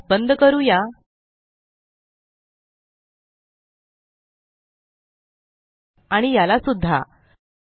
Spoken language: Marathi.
यास बंद करूया आणि याला सुद्धा